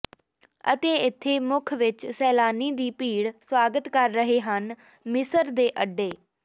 ਅਤੇ ਇੱਥੇ ਮੁੱਖ ਵਿਚ ਸੈਲਾਨੀ ਦੀ ਭੀੜ ਸਵਾਗਤ ਕਰ ਰਹੇ ਹਨ ਮਿਸਰ ਦੇ ਅੱਡੇ